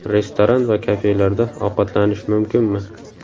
Restoran va kafelarda ovqatlanish mumkinmi?